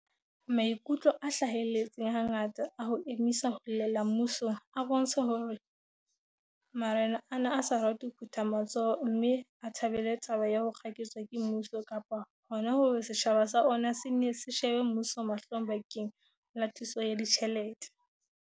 Maikutlo a hlahelletseng hangata a ho emisa ho llela mmusong a bontsha hore ma rena a ne a sa rate ho phutha matsoho mme a thabele taba ya ho kgaketswa ke mmuso kapa hona hore setjhaba sa ona se nne se shebe mmuso mahlong bakeng la thuso ya ditjhelete.